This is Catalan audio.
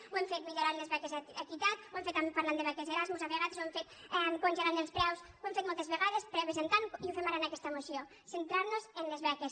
ho hem fet millo·rant les beques equitat ho hem fet parlant de beques erasmus a vegades ho hem fet congelant els preus ho hem fet moltes vegades i ho fem ara en aquesta moció centrar·nos en les beques